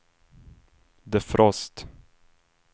defrost